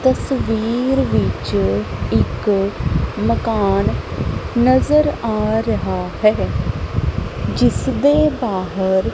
ਤਸਵੀਰ ਵਿੱਚ ਇੱਕ ਮਕਾਨ ਨਜ਼ਰ ਆ ਰਿਹਾ ਹੈ ਜਿਸਦੇ ਬਾਹਰ --